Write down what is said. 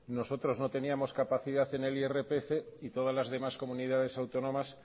nosotros no teníamos capacidad en el irpf y todas las demás comunidades autónomas